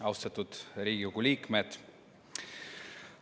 Austatud Riigikogu liikmed!